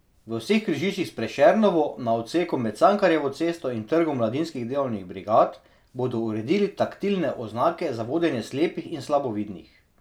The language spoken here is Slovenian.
V vseh križiščih s Prešernovo, na odseku med Cankarjevo cesto in Trgom mladinskih delovnih brigad, bodo uredili taktilne oznake za vodenje slepih in slabovidnih.